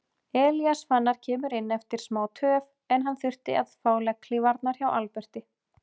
Elías Fannar kemur inn eftir smá töf en hann þurfti að fá legghlífarnar hjá Alberti.